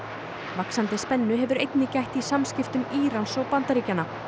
vaxandi spennu hefur einnig gætt í samskiptum Írans og Bandaríkjanna